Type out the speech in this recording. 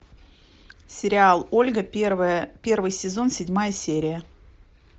сериал ольга первый сезон седьмая серия